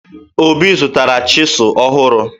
Obi zụtara chịsụ ọhụrụ